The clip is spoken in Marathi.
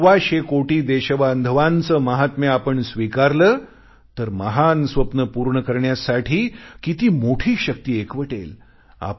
सव्वाशे कोटी देशबांधवांचे महत्व स्वीकारले सव्वाशे कोटी देशबांधवांचे माहात्म्य आपण स्वीकारले तर महान स्वप्ने पूर्ण करण्यासाठी किती मोठी शक्ती एकवटेल